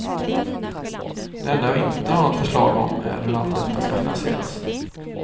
Det enda jag inte har något förslag om är hur allt detta ska finansieras.